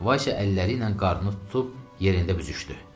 Vasia əlləri ilə qarnını tutub yerində büzüşdü.